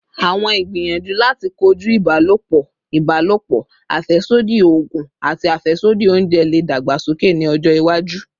Awọn igbiyanju lati koju ibalopọ ibalopo, afẹsodi oogun, ati afẹsodi ounjẹ le dagbasoke ni ọjọ iwaju